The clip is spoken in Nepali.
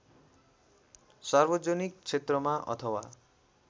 सार्वजनिक क्षेत्रमा अथवा